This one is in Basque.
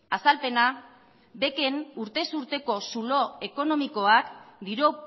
azalpena bec en urtez urteko zulo ekonomikoak diru